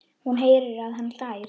Hún heyrir að hann hlær.